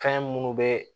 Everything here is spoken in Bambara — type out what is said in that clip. Kan munnu bɛ